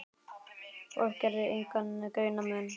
Fólk gerði engan greinarmun á þessu.